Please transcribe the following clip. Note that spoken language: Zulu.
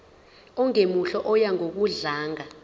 ongemuhle oya ngokudlanga